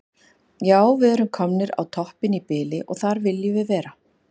Já við erum komnir á toppinn í bili og þar viljum við vera.